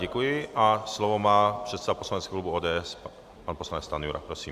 Děkuji a slovo má předseda poslaneckého klubu ODS pan poslanec Stanjura, prosím.